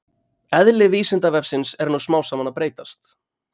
Eðli Vísindavefsins er nú smám saman að breytast.